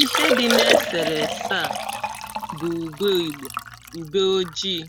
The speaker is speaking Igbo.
ihe dị̇ na-esèrè èsa à bụ̀ ùgbe ìgbò, ùbe ojii̇